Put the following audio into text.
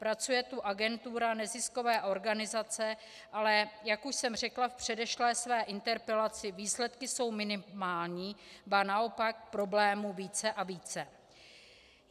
Pracuje tu agentura Neziskové organizace, ale jak už jsem řekla v předešlé své interpelaci, výsledky jsou minimální, ba naopak problémů více a více.